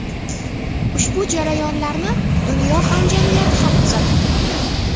Ushbu jarayonlarni dunyo hamjamiyati ham kuzatib turibdi.